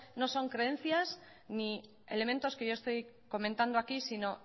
no son creencias ni elementos que yo estoy comentando aquí sino